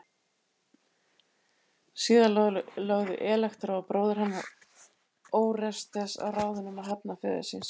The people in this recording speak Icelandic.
Síðar lögðu Elektra og bróðir hennar Órestes á ráðin um að hefna föður síns.